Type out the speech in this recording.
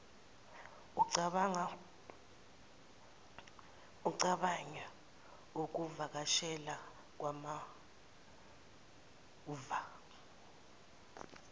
ucabange ukuvakashela kwakamuva